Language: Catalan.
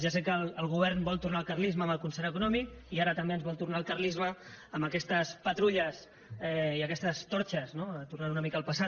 ja sé que el govern vol tornar al carlisme amb el concert econòmic i ara també ens vol tornar al carlisme amb aquestes patrulles i aquestes torxes no tornant una mica al passat